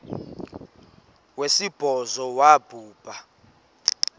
wesibhozo wabhu bha